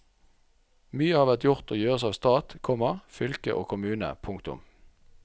Mye har vært gjort og gjøres av stat, komma fylke og kommune. punktum